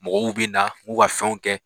Mɔgɔw bɛ na u b'u ka fɛnw kɛ.